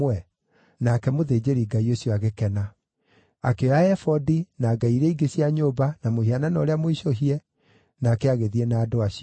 Nake mũthĩnjĩri-Ngai ũcio agĩkena. Akĩoya ebodi, na ngai iria ingĩ cia nyũmba, na mũhianano ũrĩa mũicũhie, nake agĩthiĩ na andũ acio.